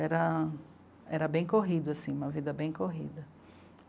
Era era bem corrido assim, uma vida bem corrida.